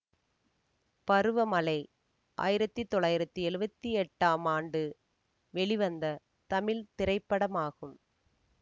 பருவ மழை ஆயிரத்தி தொள்ளாயிரத்தி எழுவத்தி எட்டாம் ஆண்டு வெளிவந்த தமிழ் திரைப்படமாகும்